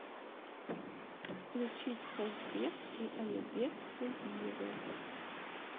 включить казбек и алибек хубиевы